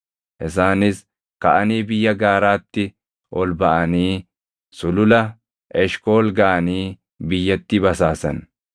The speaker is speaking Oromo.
Isaanis kaʼanii biyya gaaraatti ol baʼanii Sulula Eshkool gaʼanii biyyattii basaasan.